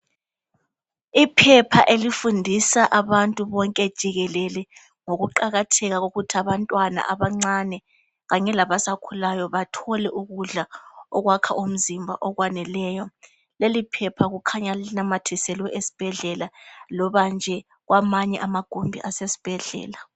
Iphepha elifundisa abantu bonke jikelele ngokuqakatheka kokuthi abantwana abancane kanye labasakhulayo bathole ukudla okwakha umzimba okwaneleyo leli phepha kukhanya linamathiselwe esibhedlela loba nje kwamanye amagumbi asesibhedlela.